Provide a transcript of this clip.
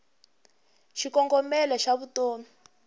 xikongomelo xavutomi